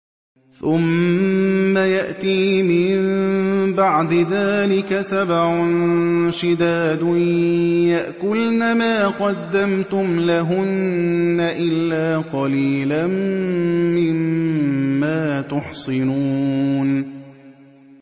ثُمَّ يَأْتِي مِن بَعْدِ ذَٰلِكَ سَبْعٌ شِدَادٌ يَأْكُلْنَ مَا قَدَّمْتُمْ لَهُنَّ إِلَّا قَلِيلًا مِّمَّا تُحْصِنُونَ